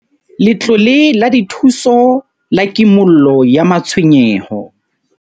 Letlole la Dithuso la Kimollo ya Matshwenyeho